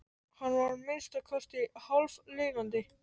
Hann var að minnsta kosti hálflifandi.